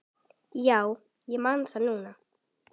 Já, ég man það núna.